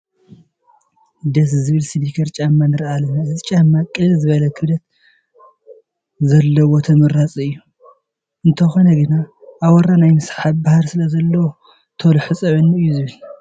ደስ ዝብል ስኒከር ጫማ ንርኢ ኣለና፡፡ እዚ ጫማ ቅልል ዝበለ ክብደት ስለዘለዎ ተመራፂ እዩ፡፡ እንተኾነ ግን ኣቦራ ናይ ምስሓብ ባህሪ ስለዘለዎ ቶሎ ሕፀበኒ እዩ ዝብል፡፡